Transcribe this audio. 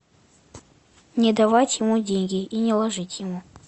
не давать ему деньги и не ложить ему